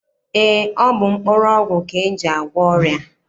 Eé, ọ bụ mkpụrụọgwụ ka e ji agwọ ọrịa.